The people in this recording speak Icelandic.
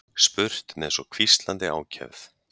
spurt með svo hvíslandi ákefð.